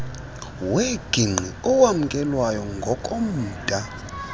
wengigqi owamkelwayo ngokomda